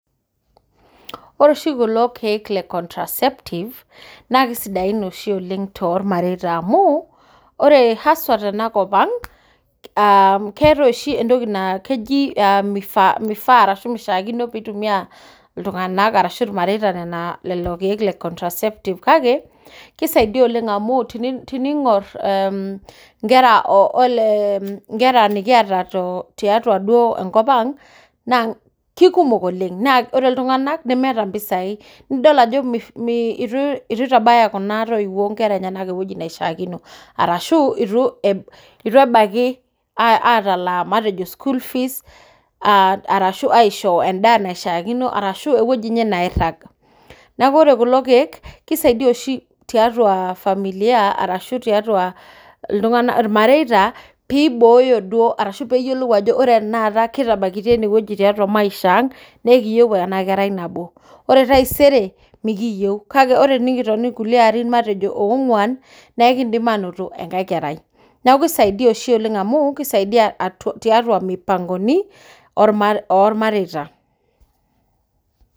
Ore oshi irkeek lee condradactive naa kisidai oshi oleng hasua Tena kop ang amu keeta oshi entoki najii kifaa arashu irmareita lelo keek lee condradactive kake kisaidia oleng amu tening'or enkera nikiata tiatua enkop naa kikumok oleng naa ore iltung'ana meeta mpisai nidol Ajo eitu eitabaya Kuna toyiwuo enkera enye ewueji naishakino ashu eitu ebaiki alaak matejo sukuul fees arashu aishoo endaa naishakino ashu wueji ninye nirag neeku ore kulo keek kisaidia oshi tiatua familia ashu tiatua irmareita pee eiboyoo duo arashu ore pee eyiolou kitabaikiata tanakata enewueji tee maisha ang naa eniyieu enkarai nabo ore taisere mikiyieu kake tenikiyoni irkulie arin ong'uan naa ekidim anoto enkae kerai neeku kisaidia oshi oleng amu tiatua mipangoni ormareita